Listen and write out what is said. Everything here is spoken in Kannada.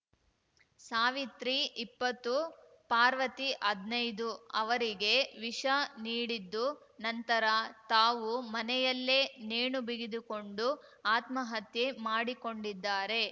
ಸಾವಿತ್ರಿಇಪ್ಪತ್ತು ಪಾರ್ವತಿ ಹದ್ನೈದು ಅವರಿಗೆ ವಿಷ ನೀಡಿದ್ದು ನಂತರ ತಾವು ಮನೆಯಲ್ಲೇ ನೇಣುಬಿಗಿದುಕೊಂಡು ಆತ್ಮಹತ್ಯೆ ಮಾಡಿಕೊಂಡಿದ್ದಾರೆ